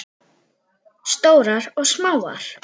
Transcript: Stórar og smáar.